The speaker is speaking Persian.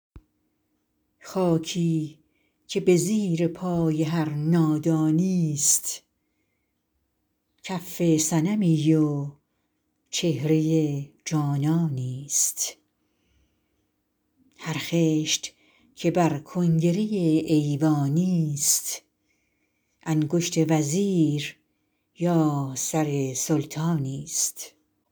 خاکی که به زیر پای هر نادانی ست کف صنمی و چهره جانانی ست هر خشت که بر کنگره ایوانی ست انگشت وزیر یا سر سلطانی ست